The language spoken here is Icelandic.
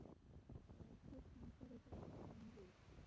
Vertu því glaður að fórn þín færði fjölskyldu þinni líf.